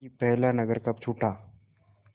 कि पहला नगर कब छूटा